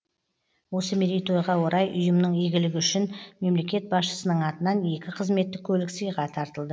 осы мерейтойға орай ұйымның игілігі үшін мемлекет басшысының атынан екі қызметтік көлік сыйға тартылды